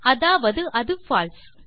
அதாவது அது பால்சே